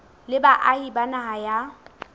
le baahi ba naha ya